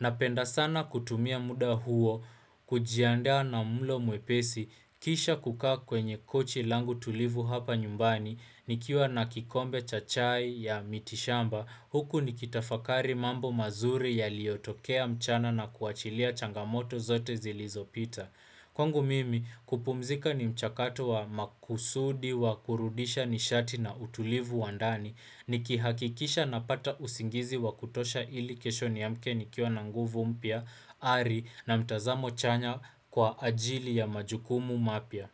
Na penda sana kutumia muda huo, kujiandaa na mulo muepesi, kisha kukaa kwenye kochi langu tulivu hapa nyumbani, nikiwa nakikombe chachai ya mitishamba, huku nikitafakari mambo mazuri ya liotokea mchana na kuachilia changamoto zote zilizopita. Kwangu mimi kupumzika ni mchakato wa makusudi wa kurudisha nishati na utulivu wandani ni kihakikisha na pata usingizi wa kutosha ili kesho ni amke ni kio na nguvu mpya ari na mtazamo chanya kwa ajili ya majukumu mapia.